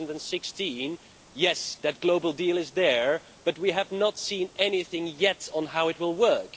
2016. Yes, that global deal is there, but we have not seen anything yet on how it will work.